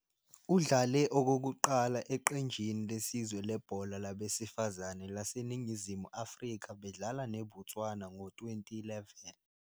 Udlale okokuqala eqenjini lesizwe lebhola labesifazane laseNingizimu Afrika bedlala neBotswana ngo-2011.